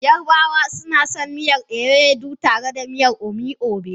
Yarabawa suna son Ewedu tare da miyar omi obe.